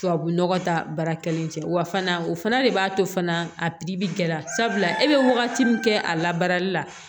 Tubabu nɔgɔ ta baara kelen cɛ wa fana o fana de b'a to fana a pibili kɛra sabula e bɛ wagati min kɛ a la baarali la